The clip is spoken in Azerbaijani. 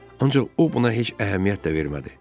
Ancaq o buna heç əhəmiyyət də vermədi.